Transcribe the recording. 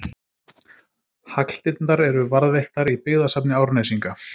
Hagldirnar eru varðveittar í Byggðasafni Árnesinga.